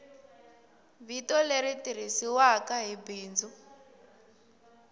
vito leri tirhisiwaku hi bindzu